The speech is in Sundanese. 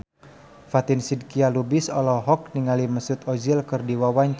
Fatin Shidqia Lubis olohok ningali Mesut Ozil keur diwawancara